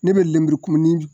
Ne be lemurukumuni j